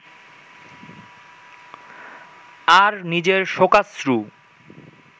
আর নিজের শোকাশ্রু